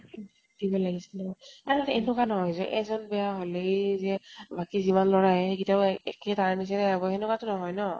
উম দিব লাগিছেলে। আৰু এনেকুৱা নহয় যে এজন বেয়া হলেই যে বাকী যিমান লʼৰা আহে সেইগিতাও একে তাৰে নিছিনা হব, হেনেকুৱাতো নহয় ন?